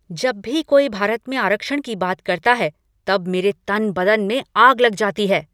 जब भी कोई भारत में आरक्षण की बात करता है तब मेरे तन बदन में आग लग जाती है।